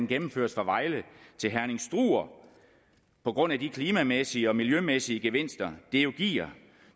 gennemføres fra vejle til herning struer på grund af de klimamæssige og miljømæssige gevinster det jo giver